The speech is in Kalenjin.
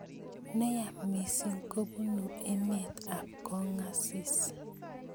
Neyaa missing kobunu emet ab kong asis.